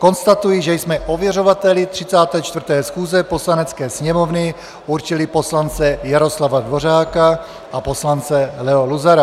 Konstatuji, že jsme ověřovateli 34. schůze Poslanecké sněmovny určili poslance Jaroslava Dvořáka a poslance Leo Luzara.